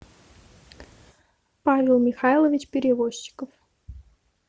павел михайлович перевозчиков